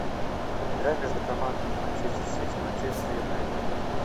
игра между командами манчестер сити манчестер юнайтед